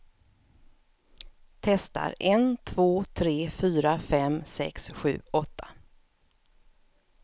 Testar en två tre fyra fem sex sju åtta.